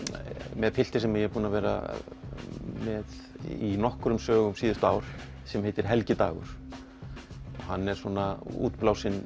með pilti sem ég er búin að vera með í nokkrum blöðum síðustu ár sem heitir Helgi Dagur hann er svona útblásinn